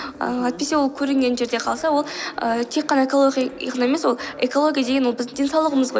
ааа әйтпесе ол көрінген жерде қалса ол ііі тек ғана экологияға ғана емес қой ол экология деген ол біздің денсаулығымыз ғой